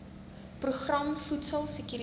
program voedsel sekuriteit